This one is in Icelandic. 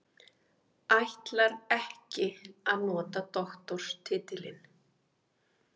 Ætlar ekki að nota doktorstitilinn